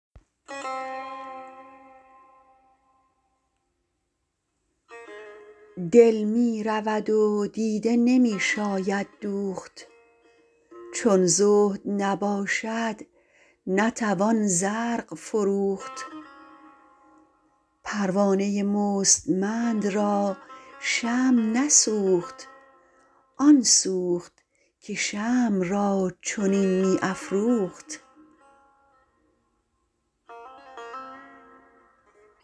دل می رود و دیده نمی شاید دوخت چون زهد نباشد نتوان زرق فروخت پروانه مستمند را شمع نسوخت آن سوخت که شمع را چنین می افروخت